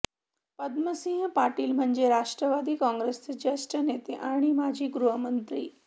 पद्मसिंह पाटील म्हणजे राष्ट्रवादी काँग्रेसचे ज्येष्ठ नते आणि माजी गृहमंत्री